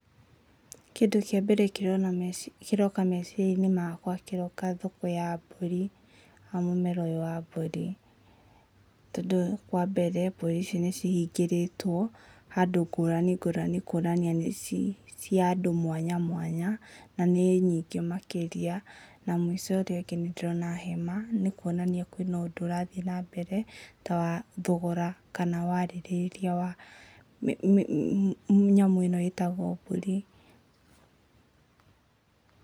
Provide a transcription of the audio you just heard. Kĩndũ kĩa mbere kĩroka meciria-inĩ makwa kĩroka thoko ya mbũri. Hamu mũmera ũyũ wa mbũri. Tondũ, wambere mbũri ici nĩ ihingĩrĩtwo handũ ngũrani ngũrani kuonania nĩ cia andũ mwanya mwanya, na nĩ nyingĩ makĩrĩa, na mũico ũrĩa ũngĩ nĩndĩrona hema, nĩ kuonani hena ũndũ irathiĩ nambere, ta wa thogora, kana warĩrĩria wa nyamũ ĩno ĩtagwo mbũri.